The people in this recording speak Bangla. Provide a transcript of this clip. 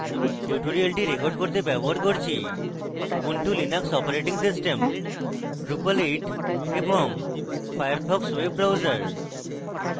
tutorial record করতে ব্যবহার করছি Ubuntu Linux operating system drupal 8 এবং ফায়ারফক্স ওয়েব ব্রাউজার